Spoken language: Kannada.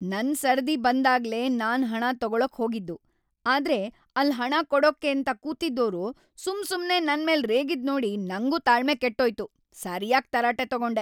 ನನ್ ಸರದಿ ಬಂದಾಗ್ಲೇ ನಾನ್ ಹಣ ತಗೊಳಕ್‌ ಹೋಗಿದ್ದು, ಆದ್ರೆ ಅಲ್ಲ್ ಹಣ ಕೊಡಕ್ಕೇಂತ ಕೂತಿದ್ದೋರು ‌ಸುಮ್ಸುಮ್ನೇ ನನ್ಮೇಲ್ ರೇಗಿದ್ನೋಡಿ ನಂಗೂ ತಾಳ್ಮೆ ಕೆಟ್ಟೋಯ್ತು, ಸರ್ಯಾಗ್‌ ತರಾಟೆ ತಗೊಂಡೆ.